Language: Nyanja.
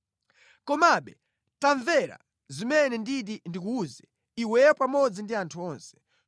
Komabe, tamvera zimene nditi ndikuwuze iweyo pamodzi ndi anthu onse: